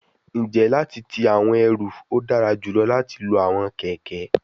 N je lati ti awọn eru, o dara julọ lati lo awọn kẹkẹ